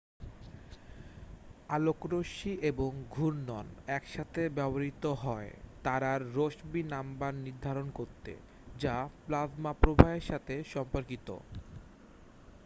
আলোকরশ্বি এবং ঘূর্ণন একসাথে ব্যবহৃত হয় তারার রসবি নাম্বার নির্ধারণ করতে যা প্লাজমা প্রবাহের সাথে সম্পর্কিত